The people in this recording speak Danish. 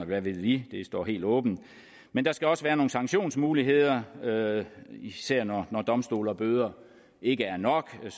hvad ved vi det står helt åbent men der skal også være nogle sanktionsmuligheder og især når domstole og bøder ikke er nok